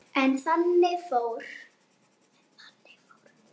Blessuð sé minning Jóns Mars.